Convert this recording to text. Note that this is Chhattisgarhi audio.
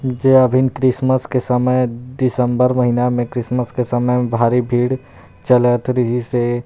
जे हा अभी क्रिसमस के समय ए दिसंबर महीना मे क्रिश्मस के समय भारी भीड़ चलत रहिस हे।